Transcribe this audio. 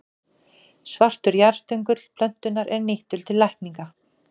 Svartur jarðstöngull plöntunnar er nýttur til lækninga.